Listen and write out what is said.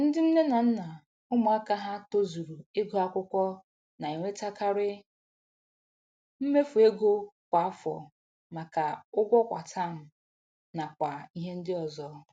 Ndị nne na nna ụmụaka ha tozuru ịgụ akwụkwọ na-enwetekari mmefu ego kwa afọ maka ụgwọ kwa taam nakwa ihe ndị ọzọ